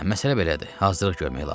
Hə, məsələ belədir.